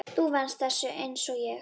Þú venst þessu einsog ég.